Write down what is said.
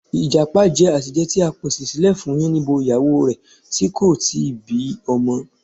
Ìjàpá je àsèjẹ ti a pèsè silẹ̀ fún Yánníbo ìyàwó rẹ̀ ti kò ti bí ọmọ